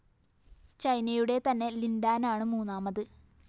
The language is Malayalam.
ചൈനയുടെ തന്നെ ലിന്‍ ഡാനാണ് മൂന്നാമത്